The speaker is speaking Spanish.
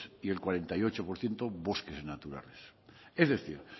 y el cuarenta y ocho por ciento bosques naturales es decir